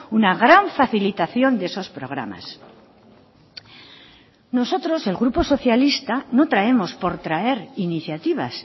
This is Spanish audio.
una gran facilitación de esos programas nosotros el grupo socialista no traemos por traer iniciativas